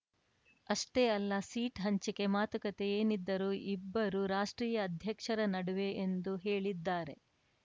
ಅಷ್ಟೇ ಅಲ್ಲ ಸೀಟ್‌ ಹಂಚಿಕೆ ಮಾತುಕತೆ ಏನಿದ್ದರೂ ಇಬ್ಬರು ರಾಷ್ಟ್ರೀಯ ಅಧ್ಯಕ್ಷರ ನಡುವೆ ಎಂದು ಹೇಳಿದ್ದಾರೆ